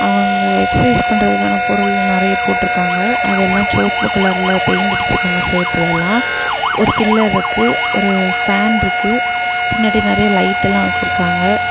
அவங்க எக்ஸ்சைஸ் பண்றதுக்கான பொருள் நிறைய போட்டு இருக்காங்க அதெல்லாம் சோப்பு கலர்ல பெயிண்ட் அடிச்சு இருக்காங்க செவுத்துல எல்லாம் ஒரு பில்லருக்கு ஒரு ஃபேன் இருக்கு பின்னாடி நிறைய லைட் எல்லாம் வச்சிருக்காங்க.